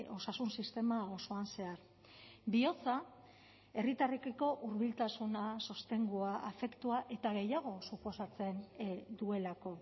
osasun sistema osoan zehar bihotza herritarrekiko hurbiltasuna sostengua afektua eta gehiago suposatzen duelako